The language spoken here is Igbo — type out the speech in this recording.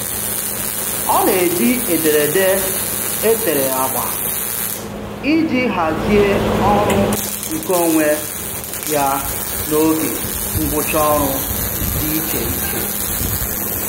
Ọ na-eji ederede e tere agba iji hazie ọrụ nkeonwe ya na oge ngwụcha ọrụ dị icheiche.